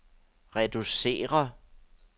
reducere